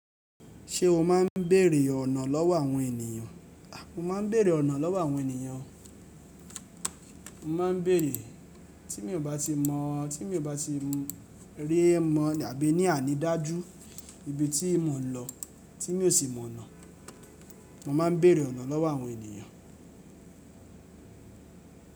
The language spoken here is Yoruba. Ṣé o máa ń bèrè ọ̀nà lọ́wọ́ àwọn ènìyàn? Mo máa ń bèrè ọ̀nà lọ́wọ́ àwọn ènìyàn. Mo máa ń bèrè, tí mi ò bá ti mọ̀, tí mi ò bá ti rí mọ̀ àbí ní àní dájú ibi tí mò ń lọ tí mi ò sì mọ̀ ọ̀nà, mo máa ń bèrè ọ̀nà lọ́wọ́ àwọn ènìyàn.